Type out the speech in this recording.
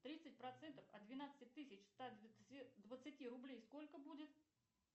тридцать процентов от двенадцати тысяч ста двадцати рублей сколько будет